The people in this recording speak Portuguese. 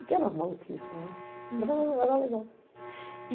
E que eram maluquices, uhum, mas era era legal.